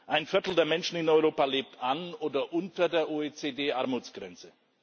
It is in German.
Ein Viertel der Menschen in Europa lebt an oder unter der OECD-Armutsgrenze.